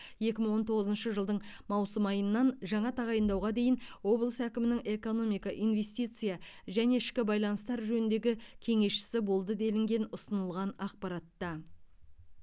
екі мың он тоғызыншы жылдың маусым айынан жаңа тағайындауға дейін облыс әкімінің экономика инвестиция және ішкі байланыстар жөніндегі кеңесшісі болды делінген ұсынылған ақпаратта